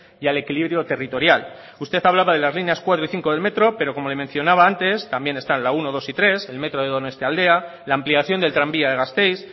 y al equilibrio territorial usted hablaba de las líneas cuatro y cinco del metro pero como le mencionaba antes también están la uno dos y tres el metro de donostialdea la ampliación del tranvía de gasteiz